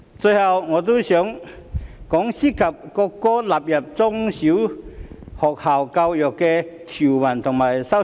最後，我也想談談涉及國歌納入中小學校教育的條文和修正案。